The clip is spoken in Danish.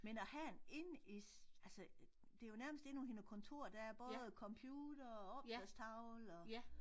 Men at have en inde i altså det jo nærmest inde noget kontor der er både computer og opslagstavle og